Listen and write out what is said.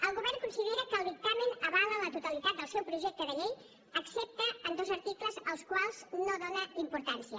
el govern considera que el dictamen avala la totalitat del seu projecte de llei excepte en dos articles als quals no dóna importància